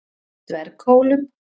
Dverghólum